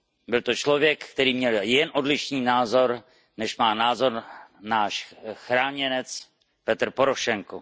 Byl to člověk, který měl jen odlišný názor, než má náš chráněnec Petro Porošenko.